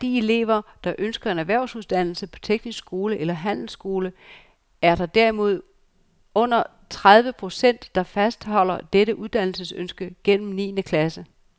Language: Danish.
Blandt de elever, der ønsker en erhvervsuddannelse på teknisk skole eller handelsskole, er der derimod under tredive procent, der fastholder dette uddannelsesønske gennem niende klasse.